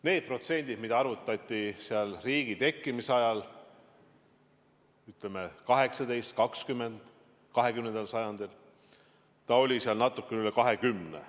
Need protsendid, mida arvutati riigi tekkimise ajal, 20. sajandi algul, olid natuke üle kahekümne.